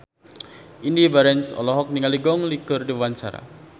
Indy Barens olohok ningali Gong Li keur diwawancara